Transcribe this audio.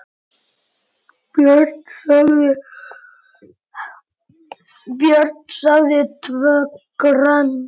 Björn sagði TVÖ GRÖND!